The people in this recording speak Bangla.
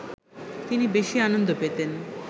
তিনি বেশি আনন্দ পেতেন